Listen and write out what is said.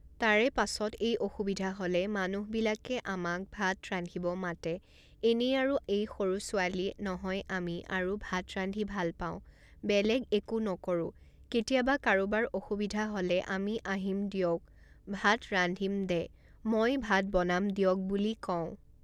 তাৰে পাছত এই অসুবিধা হ'লে মানুহবিলাকে আমাক ভাত ৰান্ধিব মাতে এনেই আৰু এই সৰু ছোৱালী নহয় আমি আৰু ভাত ৰান্ধি ভাল পাওঁ বেলেগ একো নকৰোঁ কেতিয়াবা কাৰোবাৰ অসুবিধা হ'লে আমি আহিম দিয়ক ভাত ৰান্ধিম দে মই ভাত বনাম দিয়ক বুলি কওঁ